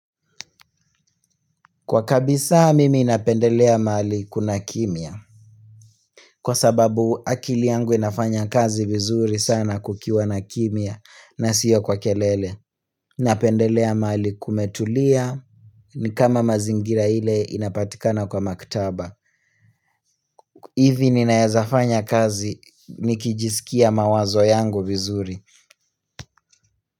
Kwa kabisa mimi inapendelea mali kuna kimya Kwa sababu akili yangu inafanya kazi vizuri sana kukiwa na kimya na siyo kwa kelele napendelea mali kumetulia ni kama mazingira ile inapatikana kwa maktaba hivi ninaezafanya kazi nikijisikia mawazo yangu vizuri.